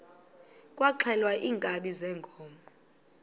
kwaxhelwa iinkabi zeenkomo